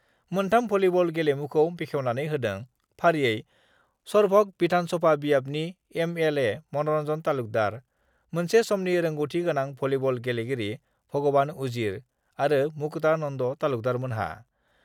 मोनथाम भलीबल गेलेमुखौ बेखेवनानै होदों फारियै सरभग बिधान सभा बियाबनि एमएलए मन'रन्जन तालुकदार, मोनसे समनि रोंगौथि गोनां भलीबर गेलेगिरि भगवान उजिर आरो मकुता नन्द तालुकदारमोनहा।